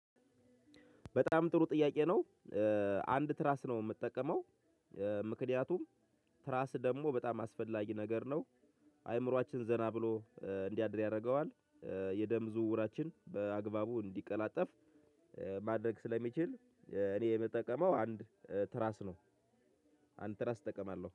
በጣም ጥሩ ጥያቄ ነው። አንድ ትራስ ነው የምጠቀመው። ምክንያቱም ትራስ ደግሞ በጣም አስፈላጊ ነገር ነው። አእምሮአችን ዘና ብሎ እንዲያድር ያደርገዋል። የደም ዝውውራችን በአግባቡ እንዲቀላጠፍ ማድረግ ስለሚችል እኔ የምጠቀመው አንድ ትራስ ነው። አንድ ትራስ እጠቀማለሁ